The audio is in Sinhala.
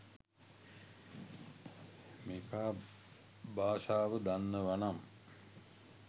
මේකා භාෂාව දන්නවනම්